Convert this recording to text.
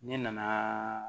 Ne nanaaa